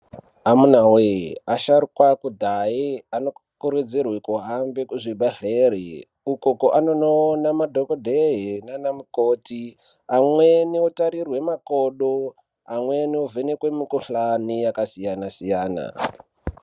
Amunawe asharukwa ekudhaya anokurudzirwa kuhambe kuzvibhedhleya uko anonoone madhokodheya nanamukoti amweni otarirwe makodo amweni ovhenekwe mikuhlani yakasiyana siyana.